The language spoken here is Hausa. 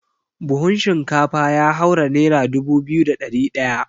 Buhun shinkafa ya haura nera dubu biyu da ɗari ɗaya.